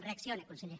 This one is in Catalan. reaccioni conseller